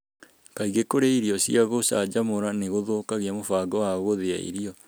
Kaingĩ kũrĩa irio cia gũcanjamũra nĩ gũthũkagia mũbango wa gúthía irio.